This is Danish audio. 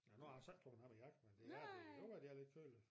Nu har jeg så ikke min jakke men det jo jeg kan godt mærke det er lidt køligt